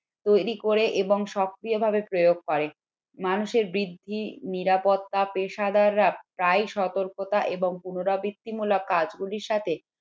তৈরি করে এবং সক্রিয়ভাবে প্রয়োগ করে মানুষের বুদ্ধি নিরাপত্তা পেশাদাররা প্রায় সতর্কতা এবং পুনরাবৃত্তি মূলক কাজগুলোর সাথে